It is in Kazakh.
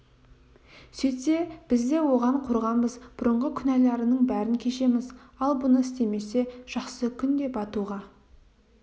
сөйтсе біз де оған қорғанбыз бұрынғы күнәларының бәрін кешеміз ал бұны істемесе жақсы күн де батуға